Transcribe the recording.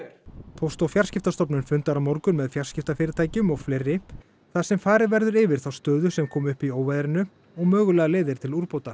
póst og fjarskiptastofnun fundar á morgun með fjarskiptafyrirtækjum og fleiri þar sem farið verður yfir þá stöðu sem kom upp í óveðrinu og mögulegar leiðir til úrbóta